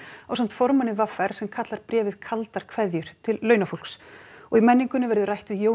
ásamt formanni v r sem kallar bréfið kaldar kveðjur til launafólks og í menningunni verður rætt við Jón